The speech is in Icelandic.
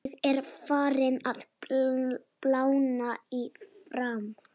Ég er farinn að blána í framan.